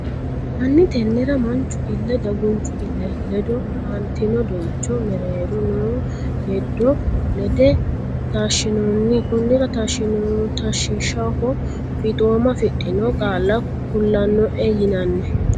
Hanni Tennera manchu ille dagunchu ille ledo aantino doyicho mereero noo hedo ledo taashshinoonni konnira taashshiishshaho fiixooma afidhino qaalla kulannoehu yinanni.